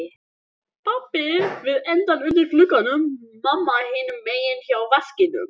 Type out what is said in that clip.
Pabbi við endann undir glugganum, mamma hinum megin hjá vaskinum.